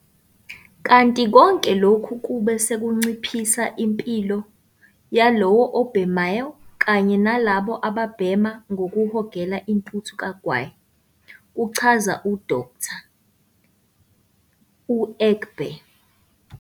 Kanti konke lokhu kube sekunciphisa impilo yalowo obhemayo kanye nalabo ababhema ngokuhogela intuthu kagwayi, kuchaza u-Dkt. u-Egbe.